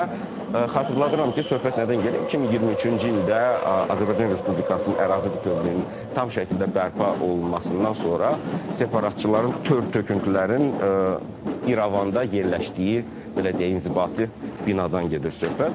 Və xatırladıram ki, söhbət nədən gedir, 2023-cü ildə Azərbaycan Respublikasının ərazi bütövlüyünün tam şəkildə bərpa olunmasından sonra separatçıların tör-töküntülərin İrəvanda yerləşdiyi, belə deyək, inzibati binadan gedir söhbət.